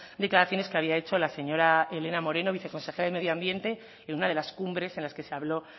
declaraciones que había hecho la señora elena moreno viceconsejera de medioambiente en una de las cumbres en las que se habló